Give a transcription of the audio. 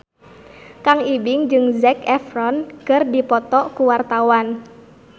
Kang Ibing jeung Zac Efron keur dipoto ku wartawan